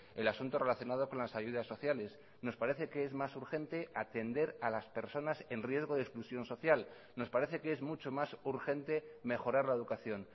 el asunto relacionado con las ayudas sociales nos parece que es más urgente atender a las personas en riesgo de exclusión social nos parece que es mucho más urgente mejorar la educación